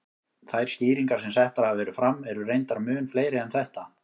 Þær skýringar sem settar hafa verið fram eru reyndar mun fleiri en þetta.